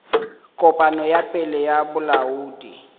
kopano ya pele ya bolaodi